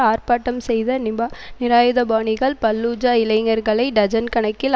ஆர்ப்பாட்டம் செய்த நிபா நிராயுதபாணிகள் பல்லூஜா இளைஞர்களை டஜன் கணக்கில்